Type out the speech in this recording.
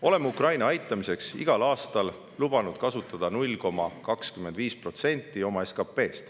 Oleme Ukraina aitamiseks igal aastal lubanud kasutada 0,25% oma SKP-st.